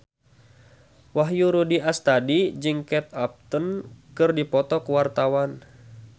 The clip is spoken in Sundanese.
Wahyu Rudi Astadi jeung Kate Upton keur dipoto ku wartawan